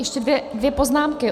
Ještě dvě poznámky.